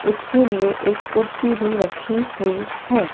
उसके लिए एक कुर्सी भी रखी हुई हैं।